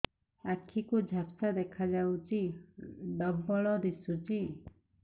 ଆଖି କୁ ଝାପ୍ସା ଦେଖାଯାଉଛି ଡବଳ ଦିଶୁଚି